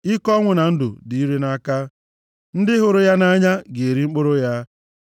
Ike ọnwụ na ndụ dị ire nʼaka. Ndị hụrụ ya nʼanya ga-eri mkpụrụ ya.